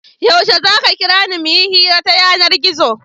Yaushe za ka kira ni mu yi hira ta yanar-gizo?